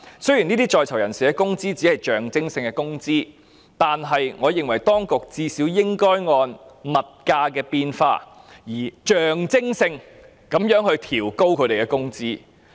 雖然在囚人士工資只屬象徵性工資，但我認為當局最少應該按物價變化而象徵性地調高他們工資。